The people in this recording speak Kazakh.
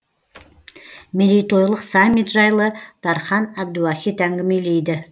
мерейтойлық саммит жайлы дархан әбдуахит әңгімелейді